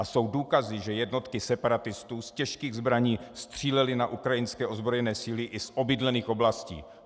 A jsou důkazy, že jednotky separatistů z těžkých zbraní střílely na ukrajinské ozbrojené síly i z obydlených oblastí.